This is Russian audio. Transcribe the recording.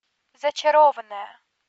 зачарованная